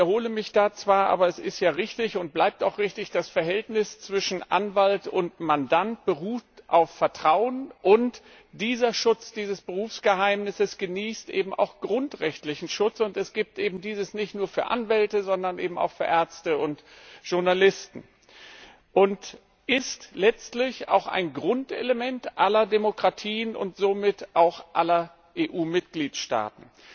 Ich wiederhole mich da zwar, aber es ist ja richtig und bleibt auch richtig Das Verhältnis zwischen Anwalt und Mandant beruht auf Vertrauen und dieser Schutz dieses Berufsgeheimnisses genießt eben auch grundrechtlichen Schutz, und es gibt dieses eben nicht nur für Anwälte, sondern auch für Ärzte und Journalisten, und es ist letztlich auch ein Grundelement aller Demokratien und somit auch aller EU Mitgliedstaaten.